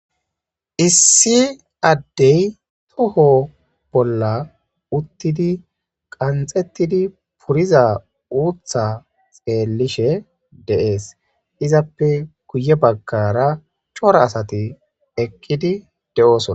issi addey toho bolla uttidi qanxettidi puriza uutha xeellishe de'es izappe kuye baggara cora asati ekqidi de'osona.